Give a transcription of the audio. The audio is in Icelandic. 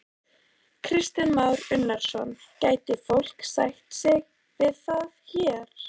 Kristján Már Unnarsson: Gæti fólk sætt sig við það hér?